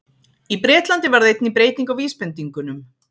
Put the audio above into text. Í Bretlandi varð einnig breyting á vísbendingunum.